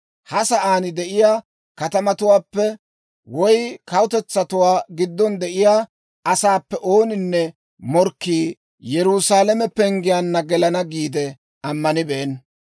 Ha sa'aan de'iyaa kaatetuwaappe woy kawutetsatuwaa giddon de'iyaa asaappe ooninne morkkii Yerusaalame penggiyaanna gelana giide ammanibeenna.